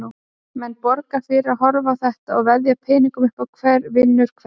Menn borga fyrir að horfa á þetta og veðja peningum upp á hver vinnur hvern.